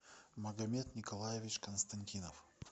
магомед николаевич константинов